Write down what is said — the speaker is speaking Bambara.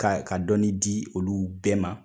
Ka ka dɔɔni di olu bɛɛ ma